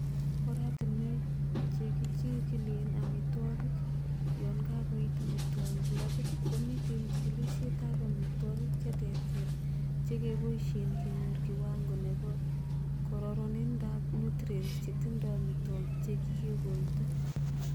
Oratinwek chekichigilen amitwogik, yon kakoit amitwogik labit, komiten chigilisietab amotwogik che terter chekeboishen kenyor kiwango nebo kororonindab nutrients chetindo amitwogik che kikikoito.